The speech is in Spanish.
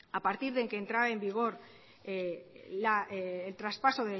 a partir de que entrara en vigor el traspaso